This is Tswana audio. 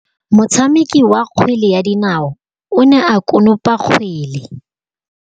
Motshameki wa kgwele ya dinaô o ne a konopa kgwele.